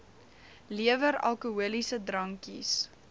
lewer alkoholiese drankies